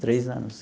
Três anos.